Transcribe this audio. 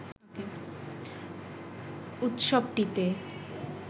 উৎসবটিতে